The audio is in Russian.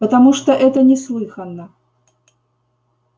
потому что это неслыханно